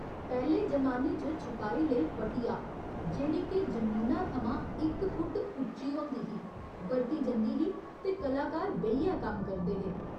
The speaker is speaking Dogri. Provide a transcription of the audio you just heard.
पैह्‌ले जमाने च छपाई लेई 'पटिया' जेह्ड़ी के जमीना थमां इक फुट्ट उच्ची होंदी ही, बरती जंदी ही ते कलाकार बेहियै कम्म करदे हे।